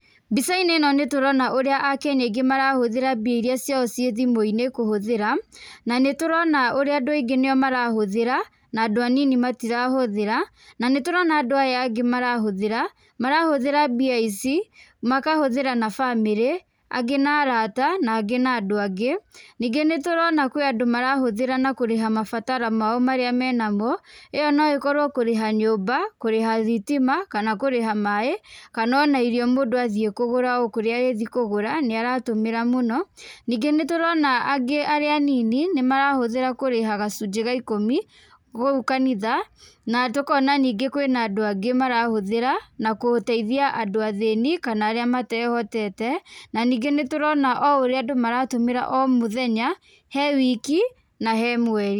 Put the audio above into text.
Mbica-inĩ nĩ tũrona ũrĩa a Kenya aingĩ marahũthĩra mbia irĩa ciao ciĩ thimũ-inĩ kũhũthĩra, na nĩ tũrona ũrĩa andũ aingĩ nio marahũthĩra, na andũ anini matirahũthĩra, na nĩ tũrona andũ aya angĩ marahũthĩra, marahũthĩra mbia ici, makahũthĩra na bamĩrĩ, angĩ na arata, na angĩ na andũ angĩ, ningĩ nĩ tũrona kwĩ andũ marahũthĩra na mabatara mao marĩa mangĩ menamo, ĩo no ĩkorwo kũrĩha nyũmba, kũrĩha thitima, kana kũrĩha maĩ, kana ona irio mũndũ athiĩ kũgũra o kũrĩa arĩthiĩ kũgũra nĩ aratũmĩra mũno, ningĩ nĩ tũrona angĩ arĩa anini nĩ marahũthĩra kũrĩha gacunjĩ ga ikũmi, kũu kanitha, na tũkona ningĩ kwĩ andũ angĩ mara hũthĩra na gũteithia andũ athĩni kana arĩa matehotete, na ningĩ nĩ tũrona o ũrĩa andũ maratũmĩra o mũthenya, he wiki, na he mweri.